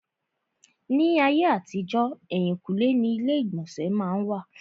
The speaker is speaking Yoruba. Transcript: Ní ayé àtijọ́, èhìnkúnlé ni ilé ìgbọ̀nsẹ̀ má n wà.